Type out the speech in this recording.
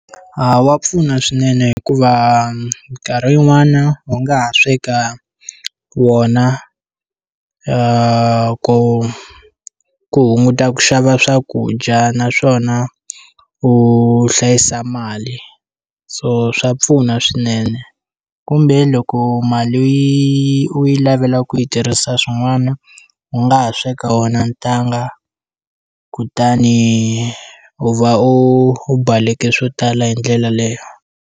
A wa pfuna swinene hikuva minkarhi yin'wana u nga ha sweka wona ku ku hunguta ku xava swakudya naswona u hlayisa mali so swa pfuna swinene kumbe loko mali yi u yi lavela ku yi tirhisa swin'wana u nga ha sweka wona ntanga kutani u va u u baleke swo tala hi ndlela leyo.